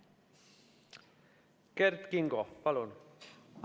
Kert Kingo, palun!